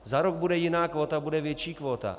Za rok bude jiná kvóta, bude větší kvóta.